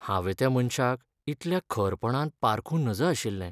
हांवें त्या मनशाक इतल्या खरपणान पारखूं नज अशिल्लें.